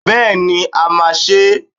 Bẹ́ẹ̀ni, a máa ṣe é.